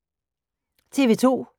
TV 2